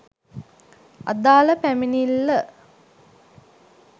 අදාල පැමිණිල්ල